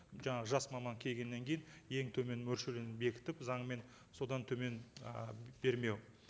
жаңағы жас маман келгеннен кейін ең төмен мөлшерлемені бекітіп заңмен содан төмен ы бермеу